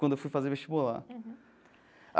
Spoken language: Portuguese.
Quando eu fui fazer vestibular.